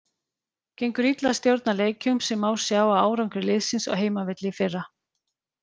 Gengur illa að stjórna leikjum sem má sjá á árangri liðsins á heimavelli í fyrra.